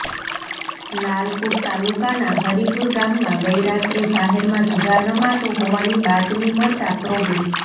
લાલપુર તાલુકાના હરિપુર ગામમાં ગઈરાત્રે જાહેરમાં જુગાર રમાતો હોવાની બાતમી મળતા પ્રોબે